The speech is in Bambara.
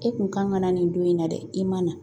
E kun kan ka na nin don in na dɛ, i ma na .